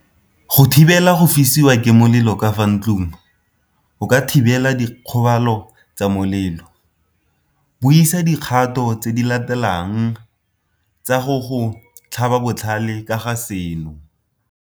Go thibela go fisiwa ke molelo ka fa ntlong o ka thibela dikgobalo tsa molelo. Buisa dikgato tse di latelang tsa go go tlhaba botlhale ka ga seno.